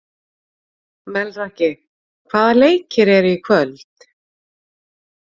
Melrakki, hvaða leikir eru í kvöld?